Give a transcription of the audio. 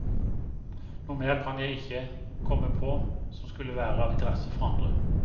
Noe mer kan jeg ikke komme på, som skulle være av interesse for andre.